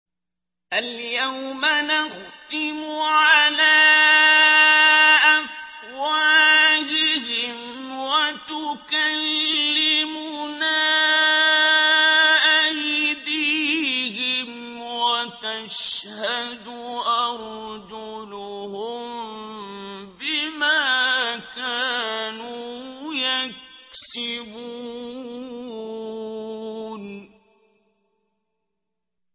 الْيَوْمَ نَخْتِمُ عَلَىٰ أَفْوَاهِهِمْ وَتُكَلِّمُنَا أَيْدِيهِمْ وَتَشْهَدُ أَرْجُلُهُم بِمَا كَانُوا يَكْسِبُونَ